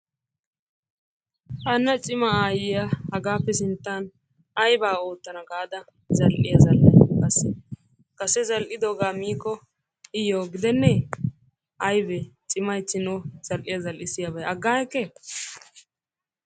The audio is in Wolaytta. Hanna cima aayyiya hagaappe sinttan ayibaa oottana gaada zal'iya zal'ay qassi? Kase zal'idoogaa miikko iyyoo gidennee? Ayibee cimayichchin o zal'iya zal'issiyaabay aggaagekke?